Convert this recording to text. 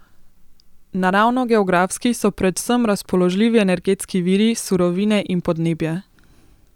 Naravnogeografski so predvsem razpoložljivi energetski viri, surovine in podnebje.